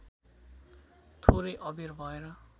थोरै अबेर भएर